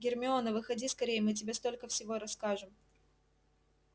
гермиона выходи скорее мы тебе столько всего расскажем